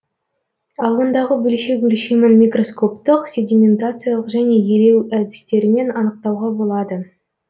ал ондағы бөлшек өлшемін микроскоптық седиментациялық және елеу әдістерімен анықтауға болады